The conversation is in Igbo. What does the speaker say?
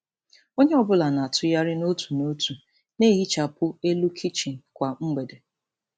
Onye ọ bụla na-atụgharị n'otu n'otu na-ehichapụ elu kichin kwa mgbede.